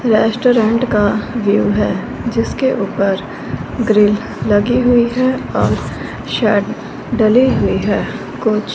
restaurant का view है जिसके ऊपर ग्रिल लगी हुई है और सट डाले हुए है कुछ --